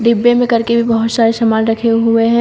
डिब्बे में करके भी बहोत सारे सामान रखे हुए हैं।